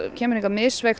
kemur hingað